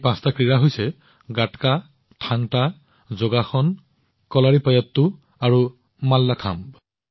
এই পাঁচবিধ ক্ৰীড়া হল গাটকা থাং টা যোগাসন কলাৰিপায়াট্টু আৰু মাল্লাখাম্ব